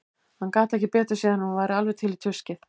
Hann gat ekki betur séð en að hún væri alveg til í tuskið.